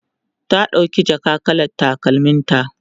ta ɗauki jaka kalar takalmin ta